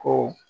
Ko